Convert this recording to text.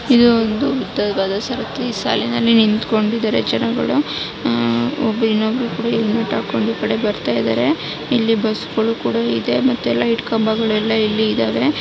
ಇದು ಒಂದು ಫ್ಯಾಕ್ಟರಿ ಸಾಲನಲ್ಲಿ ಎಲ್ಲಾ ನಿಂತ್ಕೊಂಡಿದ್ದಾರೆ ಜನಗಳು ಒಬ್ಬರು ಇನ್ನೊಬ್ರು ಕೂಡ ಹೆಲ್ಮೆಟ್ ಹಾಕು ಈ ಕಡೆ ಬರ್ತಾ ಇದ್ದಾರೆ ಇಲ್ಲಿ ಬಸ್ಗಳು ಕೂಡ ಇದೆ ಲೈಟ್ ಕಂಬಗಳು ಎಲ್ಲಾ ಇಲ್ಲಿ ಇದಾವೆ.